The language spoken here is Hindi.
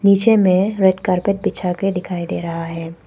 नीचे में रेड कारपेट बिछा के दिखाई दे रहा है।